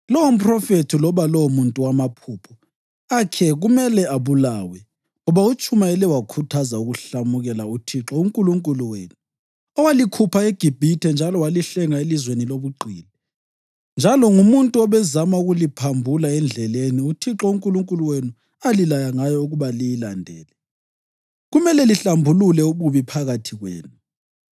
Lowo mphrofethi loba lowomuntu wamaphupho akhe kumele abulawe, ngoba utshumayele wakhuthaza ukuhlamukela uThixo uNkulunkulu wenu, owalikhupha eGibhithe njalo walihlenga elizweni lobugqili; njalo ngumuntu obezama ukuliphambula endleleni uThixo uNkulunkulu wenu alilaya ngayo ukuba liyilandele. Kumele lihlambulule ububi phakathi kwenu.